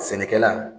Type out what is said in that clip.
Sɛnɛkɛla